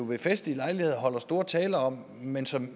ved festlige lejligheder holder store taler om men som